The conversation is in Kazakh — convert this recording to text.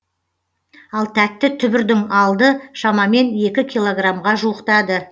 ал тәтті түбірдің алды шамамен екі килограмға жуықтады